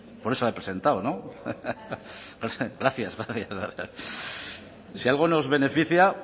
por eso la he presentado no no sé gracias gracias si algo nos beneficia